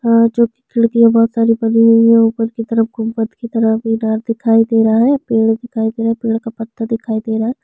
जो कि खिड़किया बहोत सारी बनी हुई है ऊपर की तरफ गुम्बद की तरह मीनार दिखाई दे रहा है पेड़ दिखाई दे रहा है पेड़ का पत्ता दिखाई दे रहा है।